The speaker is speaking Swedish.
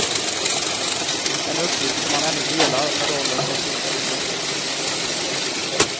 En uppgift som han ännu delar med rollen som finsk förbundskapten.